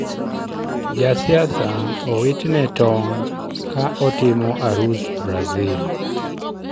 Jasiasa owitne tong' ka otimo arus Brazil.